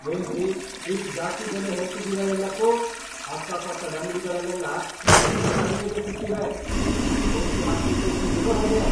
ಏನ್ರಿ ಇಷ್ಟ್ ಜಾಸ್ತಿ ಬೆಲೆ ಹೇಳ್ತಿದೀರ ಎಲ್ಲಕ್ಕೂ! ಅಕ್ಕಪಕ್ಕದ್ ಅಂಗ್ಡಿಗಳಲ್ಲೆಲ್ಲ ಇದ್ಕಿಂತ ಕಡ್ಮೆಗೇ ಸಿಗ್ತಿವೆ. ನಂಗ್ ಟೋಪಿ ಹಾಕ್ಬೇಕೂಂತಿದೀರೋ ಹೇಗೆ?